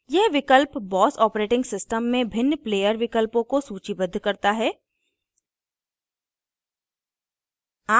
यह विकल्प boss operating system में भिन्न player विकल्पों को सूचीबद्ध करता है